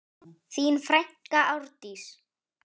Þín frænka Árdís.